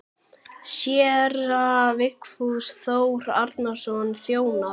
Séra Vigfús Þór Árnason þjónar.